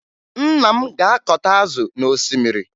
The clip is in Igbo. Nna m ga-akọta azụ n'osimmiri